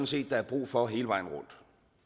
set der er brug for hele vejen rundt